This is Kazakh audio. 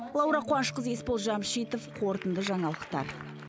лаура қуанышқызы есбол жәмшитов қорытынды жаңалықтар